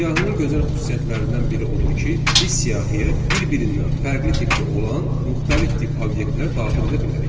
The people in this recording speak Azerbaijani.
Siyahının gözəl xüsusiyyətlərindən biri odur ki, biz siyahıya bir-birindən fərqli tipdə olan müxtəlif tip obyektlər daxil edə bilərik.